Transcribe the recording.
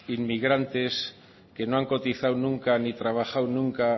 inmigrantes que no han cotizado nunca ni trabajado nunca